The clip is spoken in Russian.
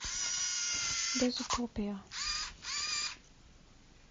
дез утопия